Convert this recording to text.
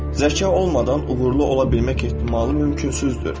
Zəka olmadan uğurlu ola bilmək ehtimalı mümkünsüzdür.